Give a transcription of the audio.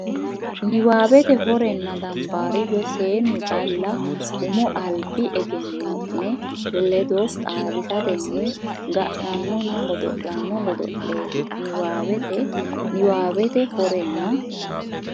niwaawete Horenna dambaariyyo seennu calla umo albi egenno ne ledo xaadisatenni ga nannonna godo lanno godo leeti niwaawete niwaawete Horenna.